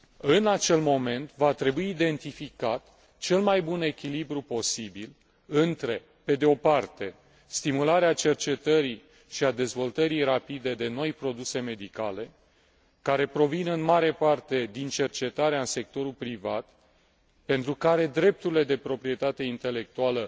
În acel moment va trebui identificat cel mai bun echilibru posibil între, pe de o parte, stimularea cercetării și a dezvoltării rapide de noi produse medicale, care provin în mare parte din cercetarea în sectorul privat, pentru care drepturile de proprietate intelectuală